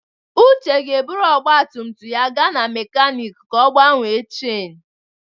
Uche ga-eburu ọgba tum tum ya gaa na mekaniiki ka ọ gbanwee cháinu.